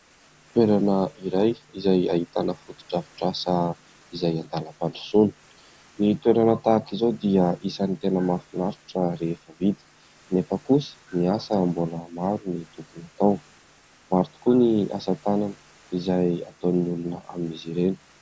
Toerana iray izay ahitana foto-drafitrasa izay andalam-pandrosoana. Ny toerana tahaka izao dia isan'ny tena mahafinaritra rehefa vita anefa kosa ny asa mbola maro ny tokony atao. Maro tokoa ny asa tanana izay ataon'ny olona amin'izy ireny.